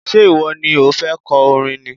Ṣé ìwọ ni o fẹ́ kọ orin ni?